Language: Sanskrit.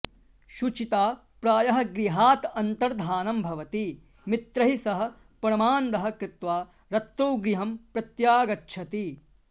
शुचिता प्रायः गृहात् अन्तर्धानं भवति मित्रैः सह परमान्दः कृत्वा रत्रौ गृहं प्रत्यागच्छति